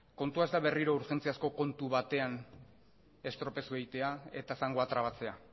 kontua ez da berriro urgentziazko kontu batean estropezu egitea eta zangoa trabatzea